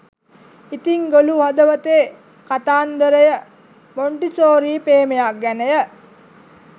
ඉතිං ගොළු හදවතේ කතාන්දරය මොන්ටිසෝරි ප්‍රේමයක් ගැනය